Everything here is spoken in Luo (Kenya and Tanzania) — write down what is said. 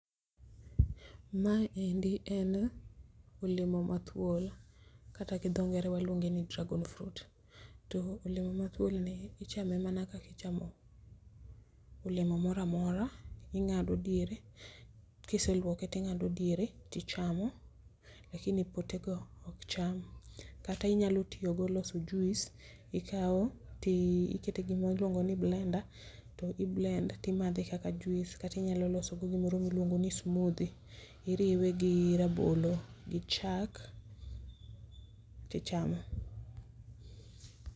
Mae endi en olemo mathuol kata gi dho ngere waluonge ni dragon fruit. To olemo mathuol ni ichame mana kakichamo olemo moro amora. Ing'ado diere kiseluoke ting'ado diere tichamo lakini potego ok cham kati nyalo tiyo gi loso juice ikawo tikete gimiluongo ni blender to i blend timadhe kaka juice kata inyalo loso go gimoro miluongo ni smoothy iriwe gi rabolo gi chak tichamo